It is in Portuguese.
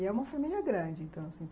E é uma família grande, então.